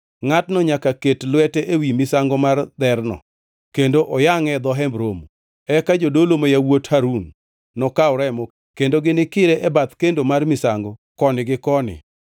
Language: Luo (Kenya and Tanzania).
Ngʼatno nyaka ket lwete ewi misango mar dherno, kendo oyangʼe e dho Hemb Romo. Eka jodolo ma yawuot Harun nokaw remo, kendo ginikire e bathe kendo mar misango koni gi koni.